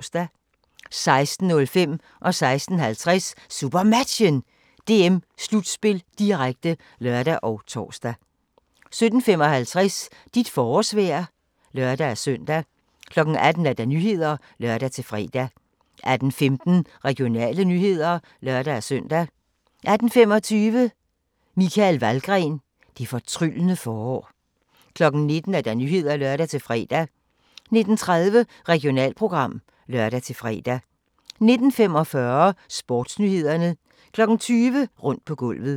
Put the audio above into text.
16:05: SuperMatchen: DM-slutspil, direkte (lør og tor) 16:50: SuperMatchen: DM-slutspil, direkte (lør og tor) 17:55: Dit forårsvejr (lør-søn) 18:00: Nyhederne (lør-fre) 18:15: Regionale nyheder (lør-søn) 18:25: Michael Valgren - det fortryllende forår 19:00: Nyhederne (lør-fre) 19:30: Regionalprogram (lør-fre) 19:45: SportsNyhederne 20:00: Rundt på gulvet